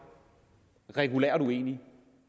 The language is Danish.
regulært uenige